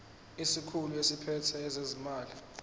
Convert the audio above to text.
isikhulu esiphethe ezezimali